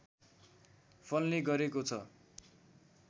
फल्ने गरेको छ